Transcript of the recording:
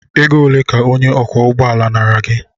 Ego ole ka onye ọkwọ ụgbọ ala nara gị?